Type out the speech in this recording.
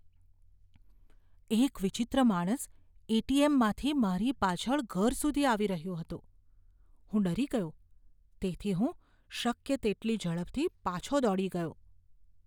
એક વિચિત્ર માણસ એટીએમમાંથી મારી પાછળ ઘર સુધી આવી રહ્યો હતો. હું ડરી ગયો તેથી હું શક્ય તેટલી ઝડપથી પાછો દોડી ગયો.